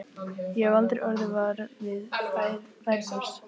Ég hef aldrei orðið var við færilús.